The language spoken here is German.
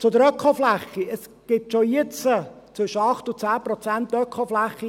Zur Ökofläche: Es gibt in diesem Gebiet schon jetzt zwischen 8 und 10 Prozent Ökofläche.